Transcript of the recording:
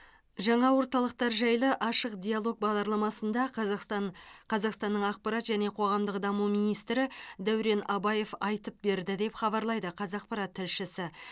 жаңа орталықтар жайлы ашық диалог бағдарламасында қазақстан қазақстанның ақпарат және қоғамдық даму министрі дәурен абаев айтып берді деп хабарлайды қазақпарат тілшісі